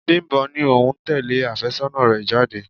Bimbo ní òun ń tẹle afésónà rẹ̀ jáde.